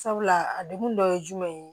Sabula a degun dɔ ye jumɛn ye